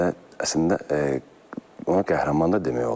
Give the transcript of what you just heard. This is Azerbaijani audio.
Əslində onu qəhrəman da demək olar.